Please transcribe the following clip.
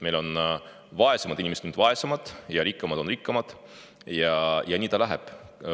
Meil on vaesemad inimesed aina vaesemad ja rikkamad on aina rikkamad ja nii ta läheb.